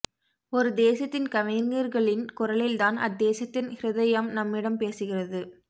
ஒரு தேசத்தின் கவிஞர்களின் குரலில் தான் அத் தேசத்தின் ஹிருதயம் நம்மிடம் பேசுகிறது